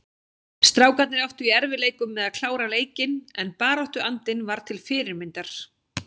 Strákarnir áttu í erfiðleikum með að klára leikinn en baráttuandinn var til fyrirmyndar.